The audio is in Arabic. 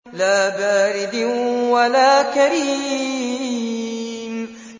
لَّا بَارِدٍ وَلَا كَرِيمٍ